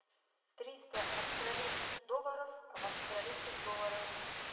триста австралийских долларов в австралийских долларах